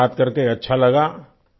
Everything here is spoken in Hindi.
आपसे बात करके अच्छा लगा